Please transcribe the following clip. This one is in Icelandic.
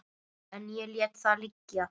En ég lét það liggja.